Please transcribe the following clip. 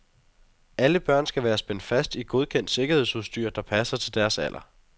Alle børn skal være spændt fast i godkendt sikkerhedsudstyr, der passer til deres alder.